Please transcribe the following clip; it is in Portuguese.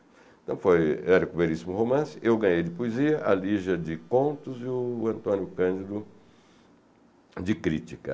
Então, foi... era com o Veríssimo Romance, eu ganhei de Poesia, a Lígia de Contos e o Antônio Cândido de Crítica.